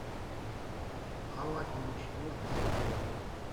аладдин четвертый сезон